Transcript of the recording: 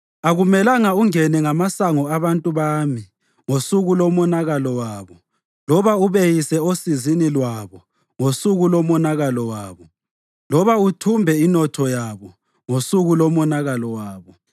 Akumelanga ungene ngamasango abantu bami ngosuku lomonakalo wabo, loba ubeyise osizini lwabo ngosuku lomonakalo wabo, loba uthumbe inotho yabo ngosuku lomonakalo wabo.